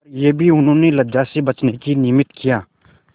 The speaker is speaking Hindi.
पर यह भी उन्होंने लज्जा से बचने के निमित्त किया